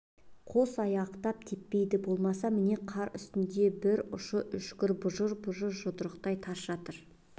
қос аяқтап теппейді болмаса міне қар үстінде бір ұшы үшкір бұжыр-бұжыр жұдырықтай қара тас жатыр